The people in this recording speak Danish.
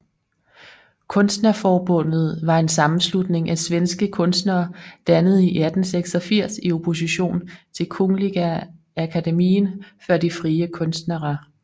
Konstnärsförbundet var en sammenslutning af svenske kunstnere dannet i 1886 i opposition til Kungliga Akademien för de fria konsterna